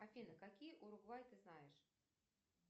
афина какие уругвай ты знаешь